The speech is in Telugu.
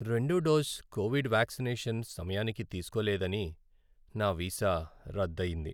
రెండో డోస్ కోవిడ్ వ్యాక్సినేషన్ సమయానికి తీసుకోలేదని నా వీసా రద్దు అయ్యింది.